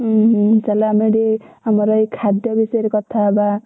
ଉଁ ହୁଁ ଚାଲ ଆମେ ଟିକେ ଆମର ଏ ଖାଦ୍ୟ ବିଷୟରେ କଥା ହେବା।